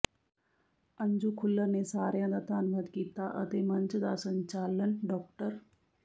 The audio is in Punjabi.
ਅੰਜੂ ਖੁੱਲਰ ਨੇ ਸਾਰਿਆਂ ਦਾ ਧੰਨਵਾਦ ਕੀਤਾ ਅਤੇ ਮੰਚ ਦਾ ਸੰਚਾਲਨ ਡਾ